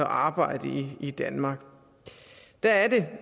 arbejde i danmark der er det